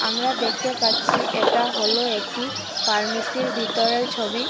আমরা দেখতে পাচ্ছি এটা হল একটি ফার্মেসি -এর ভিতরের ছবি।